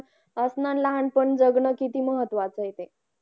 असणं अन लहानपण जगणं किती महत्वाचा ए ते